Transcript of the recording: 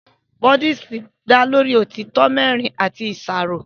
Búdíìsì dá lórí òtítọ́ mẹ́rin àti ìṣàrò